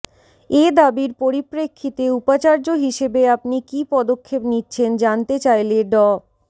এ দাবির পরিপ্রেক্ষিতে উপাচার্য হিসেবে আপনি কী পদক্ষেপ নিচ্ছেন জানতে চাইলে ড